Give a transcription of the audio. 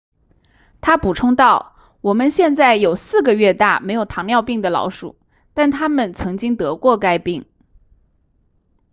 他补充道我们现在有4个月大没有糖尿病的老鼠但它们曾经得过该病